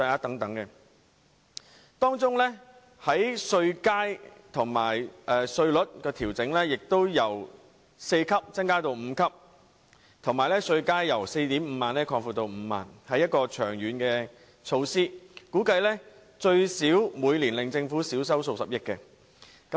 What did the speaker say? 此外，政府建議把薪俸稅稅階由4個增加至5個，並把稅階由 45,000 元擴闊至 50,000 元，這是一項長遠措施，估計最少會令政府稅收每年減少數十億元。